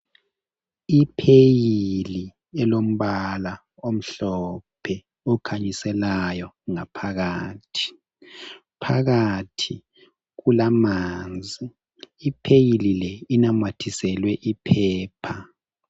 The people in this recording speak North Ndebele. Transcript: Ipheyili elombala omhlophe okhanyiselayo ngaphakathi. Phakathi kulamanzi. Ipheyili le inamathiselwe iphepha.